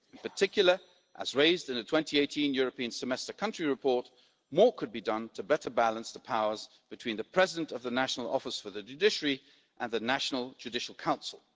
In particular, as raised in a 2018 European Semester country report, more could be done to better balance the powers between the President of the National Office for the Judiciary and the National Judicial Council.